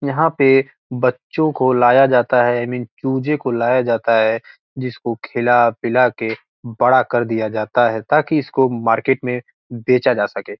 यहाँ पे बच्चो को लाया जाता है इ मीन चूजे को लो लाया जाता है जिसको खिला पिला के बड़ा कर दिया जाता है ताकि इस को मार्किट में बेचा जा सके।